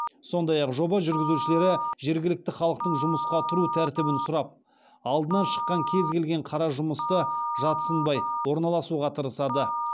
сондай ақ жоба жүргізушілері жергілікті халықтан жұмысқа тұру тәртібін сұрап алдынан шыққан кез келген қара жұмысты жат сынбай орналасуға тырысады